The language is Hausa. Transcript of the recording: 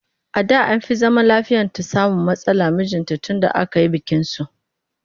A da an fi zaman lafiyata samun matsala da mijinta tunda aka yi bikinsu